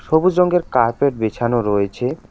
সবুজ রঙ্গের কার্পেট বেছানো রয়েছে।